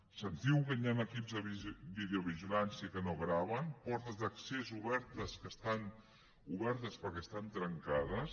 se’ns diu que hi ha equips de videovigilància que no graven portes d’accés obertes que estan obertes perquè estan trencades